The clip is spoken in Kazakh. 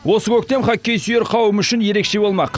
осы көктем хоккей сүйер қауым үшін ерекше болмақ